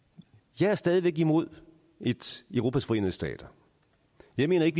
jeg er stadig væk imod et europas forenede stater jeg mener ikke